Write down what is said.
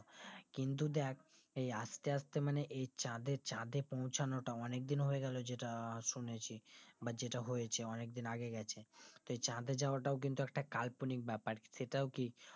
কিন্তু দেখ এই আস্তে আস্তে মানে এই চাঁদে চাঁদে পৌঁছানোটা অনিকদিন হয়েগেলো যেটা শুনেছি বা যেটা হয়েছে অনেকদিন আগে গেছে সেই চাঁদে যাওয়াটাই কিন্তু একটা কাল্পনিক ব্যাপার সেইটাও ঠিক